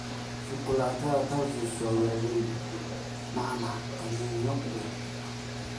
Shukulaatada truffles waa waaweyn, nacnac qaniinyo leh.